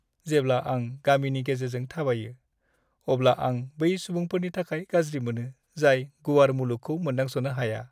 जेब्ला आं गामिनि गेजेरजों थाबायो, अब्ला आं बै सुबुंफोरनि थाखाय गाज्रि मोनो, जाय गुवार मुलुगखौ मोनदांस'नो हाया।